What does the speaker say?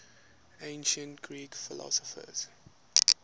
ancient greek philosophers